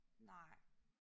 Nej